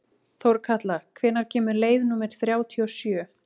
Þórkatla, hvenær kemur leið númer þrjátíu og sjö?